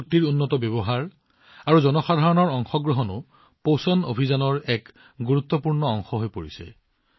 প্ৰযুক্তিৰ উন্নত ব্যৱহাৰ আৰু জনসাধাৰণৰ অংশগ্ৰহণো পোষণ অভিযানৰ এক গুৰুত্বপূৰ্ণ অংশ হৈ পৰিছে